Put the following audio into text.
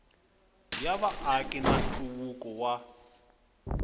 ya vaaki na nhluvukiso wa